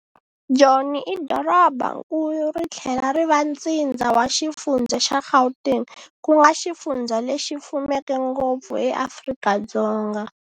Joni i dorobankulu rithlela ri va ntsindza wa xifundza xa Gauteng, kunga xifundza lexi fumeke ngopfu eAfrika-Dzonga.